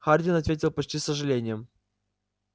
хардин ответил почти с сожалением